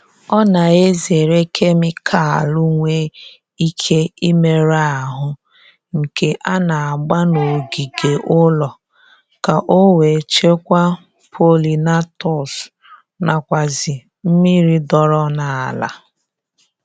Ọ na-ezere kemikalu nwe ike imerụ ahụ nke a na-agba n'ogige ụlọ ka o wee chekwaa polinatọs nakwazi mmiri dọọrọ n'ala